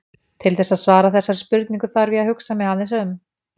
Til þess að svara þessari spurningu þarf ég að hugsa mig aðeins um.